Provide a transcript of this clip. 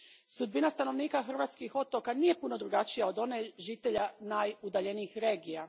Sudbina stanovnika hrvatskih otoka nije puno drukčija od one žitelja najudaljenijih regija.